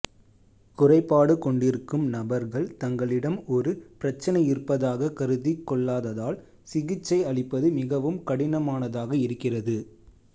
குறைபாடு கொண்டிருக்கும் நபர்கள் தங்களிடம் ஒரு பிரச்சனை இருப்பதாக கருதிக் கொள்ளாததால் சிகிச்சை அளிப்பது மிகவும் கடினமானதாக இருக்கிறது